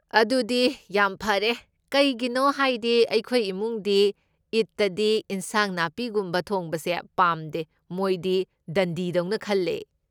ꯑꯗꯨꯗꯤ ꯌꯥꯝ ꯐꯔꯦ, ꯀꯩꯒꯤꯅꯣ ꯍꯥꯏꯗꯤ ꯑꯩꯈꯣꯏ ꯏꯃꯨꯡꯗꯤ ꯏꯗꯇꯗꯤ ꯏꯟꯁꯥꯡ ꯅꯥꯄꯤꯒꯨꯝꯕ ꯊꯣꯡꯕꯁꯦ ꯄꯥꯝꯗꯦ, ꯃꯣꯏꯗꯤ ꯗꯟꯗꯤ ꯗꯧꯅ ꯈꯜꯂꯦ꯫